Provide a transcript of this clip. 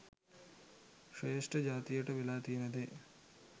ශ්‍රේෂ්ට ජාතියට වෙලා තියෙන දේ.